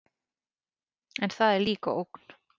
En það er líka ógn.